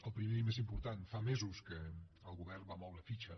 el primer i el més important fa mesos que el govern va moure fitxa